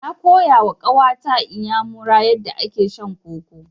Na koyawa ƙawa ta Inyamuya yadda ake shan koko.